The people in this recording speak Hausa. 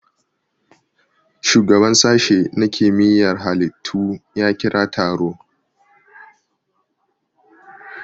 Shugaban sashe na kimiyar halittu ya kira taro